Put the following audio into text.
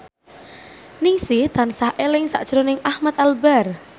Ningsih tansah eling sakjroning Ahmad Albar